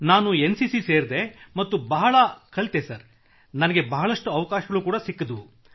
ನಾನು N C C ಸೇರಿದೆ ಮತ್ತು ಬಹಳ ಕಲಿತೆ ಹಾಗೂ ನನಗೆ ಬಹಳಷ್ಟು ಅವಕಾಶಗಳೂ ದೊರೆತವು